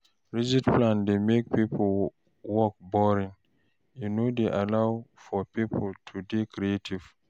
Rigid plan dey make work boring, e no dey allow for pipo to dey creative